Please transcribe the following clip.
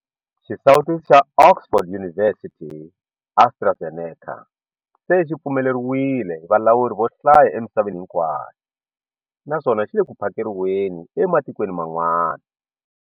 Xisawutisi xa Oxford University-AstraZeneca se xi pfumeleriwile hi valawuri vo hlaya emisaveni hinkwayo naswona xi le ku phakeriweni ematikweni man'wana.